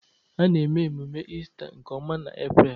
A na-eme ememe Ista nke ọma n'April